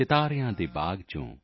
ਸਿਤਾਰਿਆਂ ਦੇ ਬਾਗ ਤੋਂ